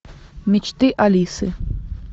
мечты алисы